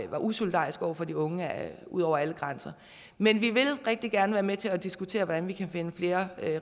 var usolidarisk over for de unge ud over alle grænser men vi vil rigtig gerne være med til at diskutere hvordan vi kan finde flere